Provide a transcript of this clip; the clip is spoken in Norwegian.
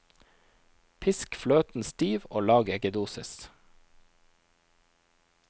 Pisk fløten stiv og lag eggedosis.